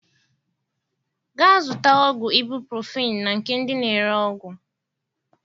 Ga zụta ọgwụ ibuprofen na nke ndị na ere ọgwụ